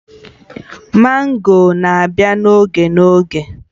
Mango na-abịa n'oge n'oge